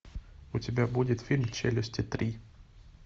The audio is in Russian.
у тебя будет фильм челюсти три